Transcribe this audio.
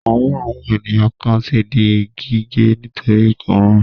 Ọwọ́ àwọn ènìyàn kan ti di gígé nítorí ìkóràn.